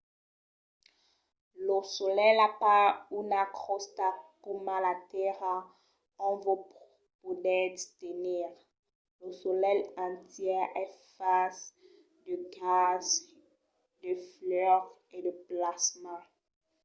lo solelh a pas una crosta coma la tèrra ont vos podètz tenir. lo solelh entièr es fach de gases de fuòc e de plasma